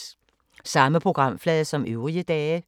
Samme programflade som øvrige dage